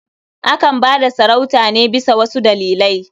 Akan ba da sarauta ne bisa wasu dalilai.